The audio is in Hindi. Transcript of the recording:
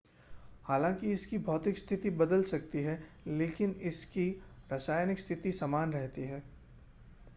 हालांकि इसकी भौतिक स्थिति बदल सकती है लेकिन इसकी रासायनिक स्थिति समान रहती है